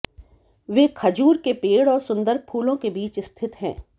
वे खजूर के पेड़ और सुंदर फूलों के बीच स्थित हैं